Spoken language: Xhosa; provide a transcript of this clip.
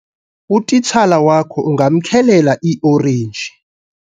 utitshala wakho ungamkhelela iiorenji